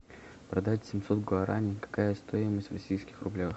продать семьсот гуарани какая стоимость в российских рублях